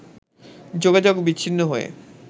যোগাযোগ বিচ্ছিন্ন হয়ে